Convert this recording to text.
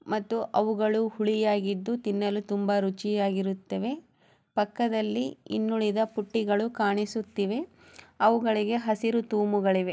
ಮತ್ತು ಇವು ಹುಳಿಯಾಗಿದ್ದು ತಿನ್ನಲು ತುಂಬಾ ಚೆನ್ನಾಗಿರುತ್ತೆ ಪಕ್ಕದಲ್ಲಿ ಹಸಿರು ಬಣ್ಣದ ಪುಟ್ಟಿಗಳು ಕಾಣಿಸಿತ್ತೇವೆ ಅವುಗಳಿಗೆ ಹಸಿರು ತೂಮಿಗಕೇವೆ